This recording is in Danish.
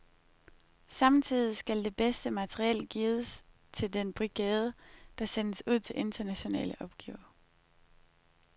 Samtidig skal det bedste materiel gives til den brigade, der sendes ud til internationale opgaver.